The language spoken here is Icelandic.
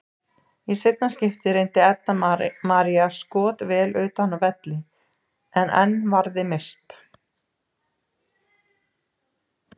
Í seinna skiptið reyndi Edda María skot vel utan af velli en enn varði Mist.